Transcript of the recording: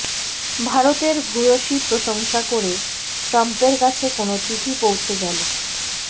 ভারতের ভূয়সী প্রশংসা করে ট্রাম্পের কাছে কোন চিঠি পৌঁছে গেল